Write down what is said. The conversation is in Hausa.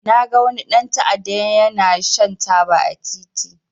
Na ga wani dan ta'adda ya na shan taba a titi